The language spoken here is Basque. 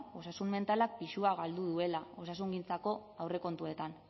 osasun mentalak pisua galdu duela osasungintzako aurrekontuetan